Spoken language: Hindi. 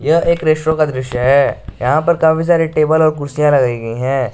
यह एक का दृश्य है यहां पर काफी सारी टेबल और कुर्सियां लगाई गई हैं।